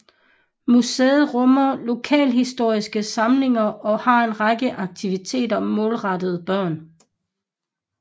Museet rummer lokalhistoriske samlinger og har en række aktiviteter målrettet børn